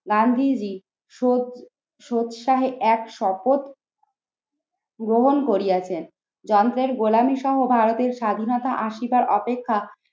গান্ধীজী শোধ সৎসাহে এক শপথ গ্রহণ করিয়াছেন। যন্ত্রের গোলামী সহ ভারতের স্বাধীনতা আসীবার অপেক্ষা